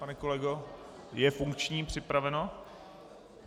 Pane kolego, je funkční, připraveno?